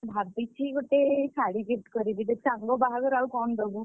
ଭାବିଛି ଗୋଟେ ଶାଢୀ gift କରିବି ଦେଖ ସାଙ୍ଗ ବାହାଘର ଆଉ କଣ ଦବୁ?